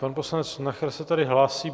Pan poslanec Nacher se tady hlásí.